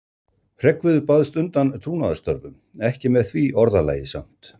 Hreggviður baðst undan trúnaðarstörfum, ekki með því orðalagi samt.